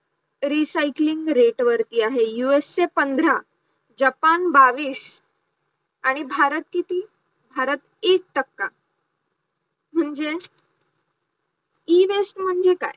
recycling rate वरती आहे US चे पंधरा, जापान बावीस, आणि भारत किती भारत एक टक्का म्हणजे Ewaste म्हणजे काय,